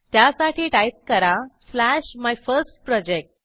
त्यासाठी टाईप करा slash my first project